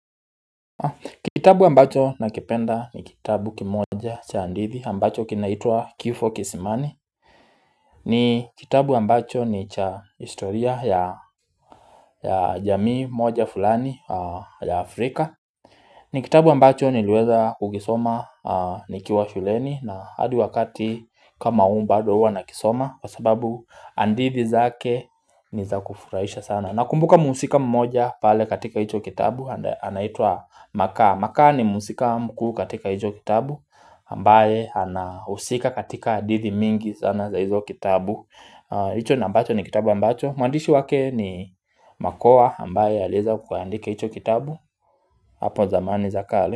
Kitabu ambacho nakipenda ni kitabu kimoja cha hadithi ambacho kinaitwa Kifo kisimani ni kitabu ambacho ni cha historia ya ya jamii moja fulani ya Afrika ni kitabu ambacho niliweza kukisoma nikiwa shuleni na hadi wakati kama huu bado huwa nakisoma Kwa sababu hadithi zake ni za kufurahisha sana. Nakumbuka muhusika mmoja pale katika hicho kitabu anaitwa makaa. Makaa ni muhusika mkuu katika hicho kitabu ambaye anahusika katika hadithi mingi sana za izo kitabu hicho na ambacho ni kitabu ambacho Mwandishi wake ni Makokha ambaye aliweza kuandika hicho kitabu Hapo zamani za kale.